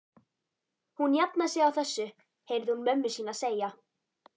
Hún jafnar sig á þessu heyrði hún mömmu sína segja.